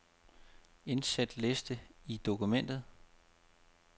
Indsæt liste i dokumentet.